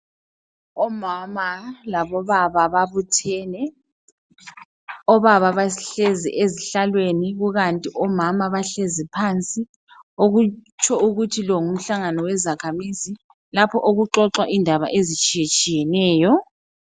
Omama labobaba babuthene, obaba bahlezi ezihlalweni kukanti omama bahlezi phansi okutsho ukuthi lo ngumhlangano wezakhamizi lapho okuxoxwa khona indaba ezitshiyetshiyeneyo.